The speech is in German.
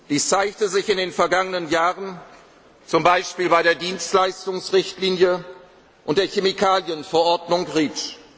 Dies zeigte sich in den vergangenen Jahren zum Beispiel bei der Dienstleistungsrichtlinie und der Chemikalien Verordnung